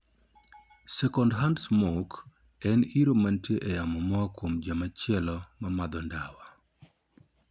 Secondhand smoke' en iro mantie e yamo moa kuom jomachielo ma madho ndawa.